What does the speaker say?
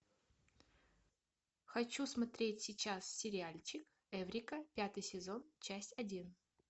хочу смотреть сейчас сериальчик эврика пятый сезон часть один